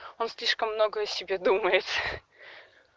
он слишком много о себе думает